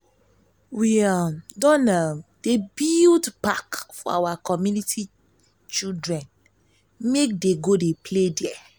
we um don um dey build park for our community children go dey play there.